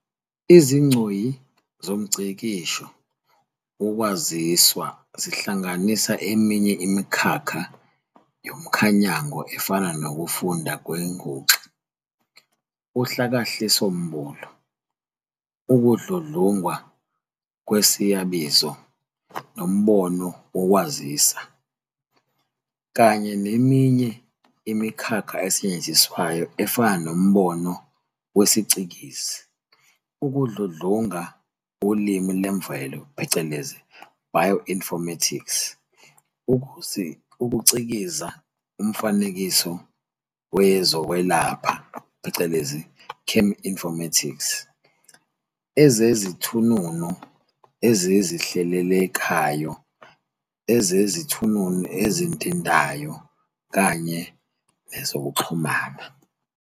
Izigcoyi zomngcikisho wokwaziswa zihlanganisa eminye imikhakha yomkhanyango efana nokufunda kwenguxa, uHlakahlisombulu, Ukudludlungwa kwesiyabizo, nombono wokwaziswa, kanye neminye imikhakha esetshenziswayo efana nombono wesiCikizi, ukudludlunga ulimi lwemvelo, "bioinformatics", ukuCikiza umfanekiso wezokwelapha, "cheminformatics", ezezithununu ezizihlelelekayo, ezezithununu ezintintayo, kanye nezokuxhumana.